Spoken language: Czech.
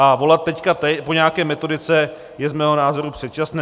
A volat teď po nějaké metodice je z mého názoru předčasné.